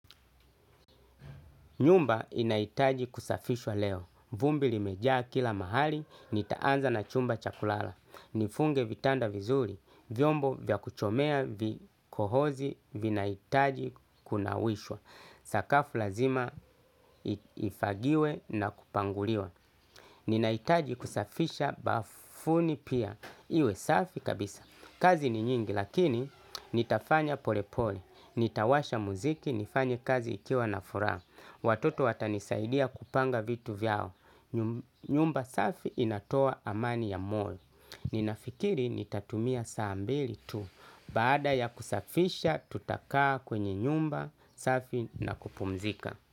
Nyumba inaitaji kusafishwa leo. Vumbi limejaa kila mahali, nitaanza na chumba chakulala. Nifunge vitanda vizuri. Vyombo vya kuchomea vikohozi, vinaitaji kunawishwa. Sakafu lazima ifagiwe na kupanguliwa. Ninaitaji kusafisha bafuni pia iwe safi kabisa. Kazi ni nyingi lakini nitafanya pole pole. Nitawasha muziki nifanye kazi ikiwa na furaa. Watoto watanisaidia kupanga vitu vyao. Nyumba safi inatoa amani ya moyo. Ninafikiri nitatumia saa mbili tu. Baada ya kusafisha tutakaa kwenye nyumba safi na kupumzika.